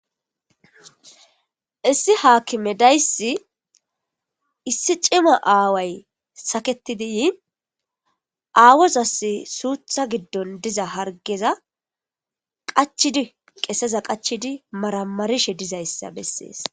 Issi haakime daysi issi cima aaway saketidi yiin aawozas suutha giddon diza hargeza qachidi qeseza qachidi maramarishe dizayssa bessees.